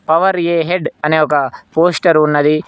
Power ahead అనే ఒక poster ఉన్నది.